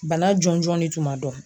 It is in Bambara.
Bana jɔnjɔn de tun ma dɔn